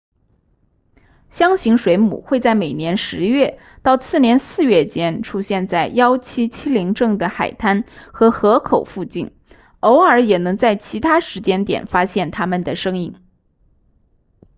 箱型水母会在每年十月到次年四月间出现在1770镇的海滩和河口附近偶尔也能在其他时间点发现它们的身影